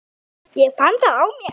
Ég fann það á mér.